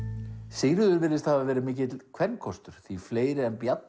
Sigríður virðist hafa verið mikill kvenkostur því fleiri en Bjarni